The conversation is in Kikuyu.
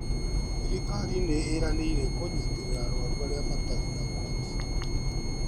Thirikali nĩĩranĩire kũnyitĩrĩra arwaru aria matarĩ na uhoti